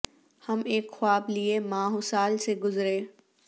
ہم ایک خواب لیے ماہ و سال سے گزرے